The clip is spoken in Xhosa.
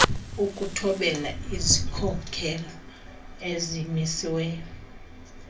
ukuthobela izikhokelo ezimisiweyo